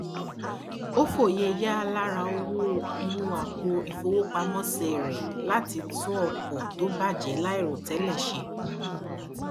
ranti ipin kan jẹ iyẹn ipin kan ti awọn ere ileiṣẹ fun igbesi aye